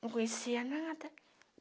Não conhecia nada.